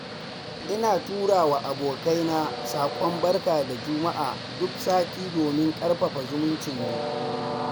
Ina tura wa abokaina saƙon barka da juma'a duk sati domin ƙarfafa zumuncinmu.